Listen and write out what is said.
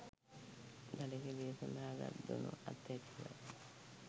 දඩකෙළිය සඳහා ගත් දුනු අතැතිවයි.